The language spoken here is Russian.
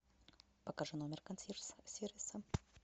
покажи номер консьерж сервиса